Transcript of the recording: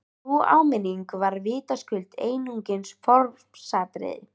Sú áminning var vitaskuld einungis formsatriði!